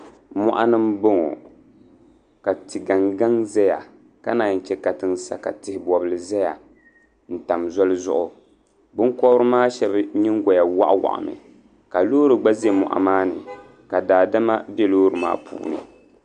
Mɔɣuni n bɔŋɔ ka ti gaŋ gaŋ zaya ka nanyi chɛ katiŋ sa ka tihi bɔbli zaya n tam zoli zuɣu binkobiri maa shɛba yingoya wɔɣi wɔɣi mi ka loori gba zɛ mɔɣu maa ni ka daadama bɛ loori maa puuni.